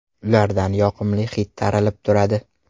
Ulardan yoqimli hid taralib turadi.